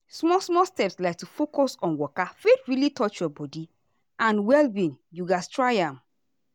small small steps like to focus on waka fit really touch your body and well-being you gatz try am.